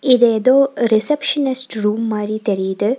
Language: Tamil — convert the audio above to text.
இது ஏதோ ரிசப்ஷனிஸ்ட் ரூம் மாரி தெரியுது.